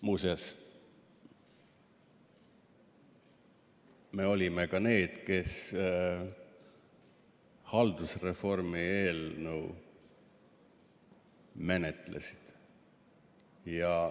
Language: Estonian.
Muuseas, me olime ka need, kes haldusreformi eelnõu menetlesid.